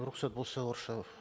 рұқсат болса орысша